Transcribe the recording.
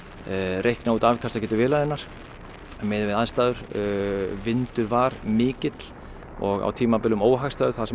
reikna út afkastagetu vélarinnar miðað við aðstæður vindur var mikill og á tímabilum óhagstæður þar sem